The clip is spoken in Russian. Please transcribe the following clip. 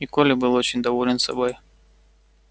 и коля был очень доволен собой